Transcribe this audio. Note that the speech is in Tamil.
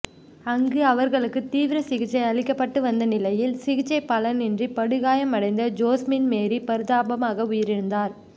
அங்கு அவர்களுக்குத் தீவிர சிகிச்சை அளிக்கப்பட்டு வந்த நிலையில் சிகிச்சை பலனின்றி படுகாயமடைந்த ஜோஸ்மின் மேரி பரிதாபமாக உயிரிழந்தார்